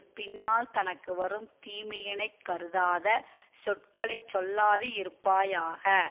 பின்னால் தனக்கு வரும் தீமையினைக் கருதாத சொற்களை சொல்லாது இருப்பாயாக